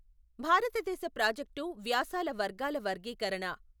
భారతదేశ ప్రాజెక్టు వ్యాసాల వర్గాల వర్గీకరణ.